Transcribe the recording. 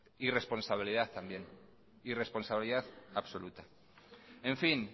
irresponsabilidad también irresponsabilidad absoluta en fin